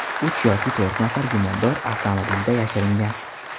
Uch yoki to‘rt nafar gumondor avtomobilda yashiringan.